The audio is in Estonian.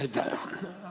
Aitäh!